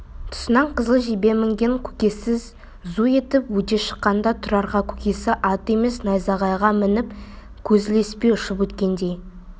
тұсынан қызыл жебе мінген көкесі зу етіп өте шыққанда тұрарға көкесі ат емес найзағайға мініп көзілеспей ұшып өткендей